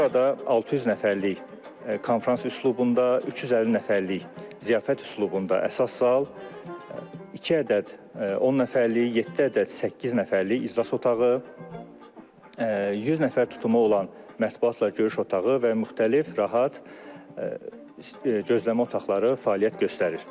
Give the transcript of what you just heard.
Burada 600 nəfərlik konfrans üslubunda, 350 nəfərlik ziyafət üslubunda əsas zal, iki ədəd 10 nəfərlik, yeddi ədəd 8 nəfərlik iclas otağı, 100 nəfər tutumu olan mətbuatla görüş otağı və müxtəlif rahat gözləmə otaqları fəaliyyət göstərir.